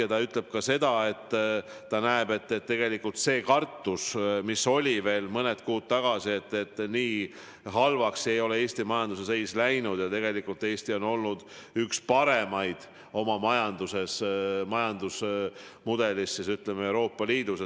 Ja ta ütleb ka seda, et tegelikult see kartus, mis oli veel mõned kuud tagasi, pole täitunud, nii halvaks ei ole Eesti majanduse seis läinud ja tegelikult Eesti on olnud üks parimaid oma majandusmudeliga kogu Euroopa Liidus.